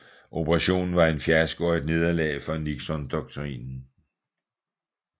Operationen var en fiasko og et nederlag for Nixondoktrinen